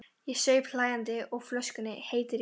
Ég saup hlæjandi á flöskunni, heitur í kinnum.